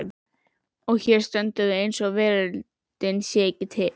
Og hér stöndum við eins og veröldin sé ekki til.